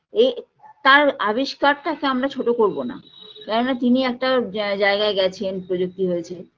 এ তার আবিষ্কারটাকে আমরা ছোটো করবোনা কেননা তিনি একটা জা জায়গায় গেছেন প্রযুক্তি হয়েছে